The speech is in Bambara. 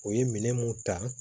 U ye minɛn mun ta